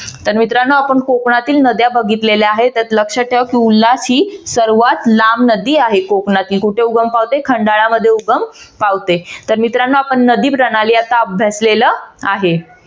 तर मित्रानो आपण कोकणातील नद्या बघितल्या आहेत तर लक्षात ठेवा उल्हास ही सर्वात लांब नदी आहे कोकणातली कुठे उगम पावते खंडाळा मध्ये उगम पावते तर मित्रानो आपण नदीप्रणाली आत्ता अभ्यासलेल आहे.